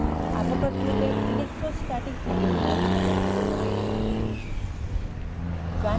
avogadro তে electrostatic potential সমর্থিত নয়